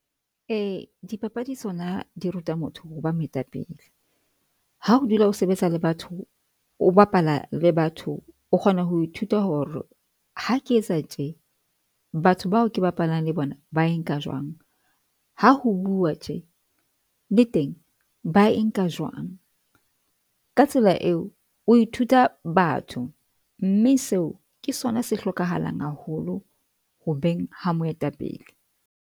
Eya dipapadi, tsona di ruta motho ho ba moetapele. Ha ho dula o sebetsa le batho, o bapala le batho, o kgona ho ithuta hore ha ke etsa tje batho bao ke bapalang le bona ba e nka jwang, ha ho bua tje le teng ba e nka jwang ka tsela eo, o ithuta batho mme seo ke sona se hlokahalang haholo ho beng ha moetapele.